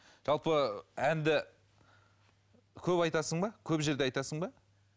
жалпы әнді көп айтасың ба көп жерде айтасың ба